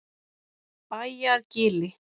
Bæjargili